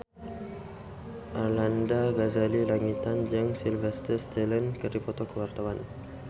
Arlanda Ghazali Langitan jeung Sylvester Stallone keur dipoto ku wartawan